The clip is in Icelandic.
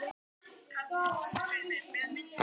Hugsið ykkur bara!